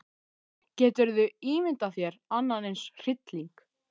Geturðu ímyndað þér annan eins hrylling.